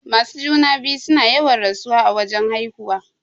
Masu juna-biyu suna yawan rasuwa a wajan haihuwa.